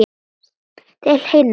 Til himna!